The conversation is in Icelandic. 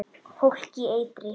Fólk í eitri